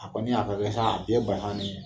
A kɔni y'a ta kɛ sa den ye bana ni